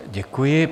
Děkuji.